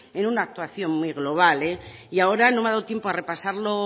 en una actuación muy global y ahora no me ha dado tiempo